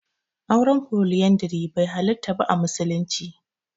Auren Foliyandari bai halarta ba a musulunci.